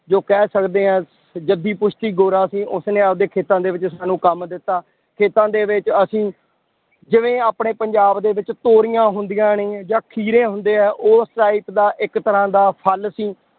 ਜੋ ਕਹਿ ਸਕਦੇ ਹਾਂ ਜੱਦੀ ਪੁਸ਼ਤੀ ਗੋਰਾ ਸੀ ਉਸਨੇ ਆਪਦੇ ਖੇਤਾਂ ਦੇ ਵਿੱਚ ਸਾਨੂੰ ਕੰਮ ਦਿੱਤਾ, ਖੇਤਾਂ ਦੇ ਵਿੱਚ ਅਸੀਂ ਜਿਵੇਂ ਆਪਣੇ ਪੰਜਾਬ ਦੇ ਵਿੱਚ ਤੋਰੀਆਂ ਹੁੰਦੀਆਂ ਨੇ ਜਾਂ ਖੀਰੇ ਹੁੰਦੇ ਆ ਉਸ type ਦਾ ਇੱਕ ਤਰ੍ਹਾਂ ਦਾ ਫਲ ਸੀ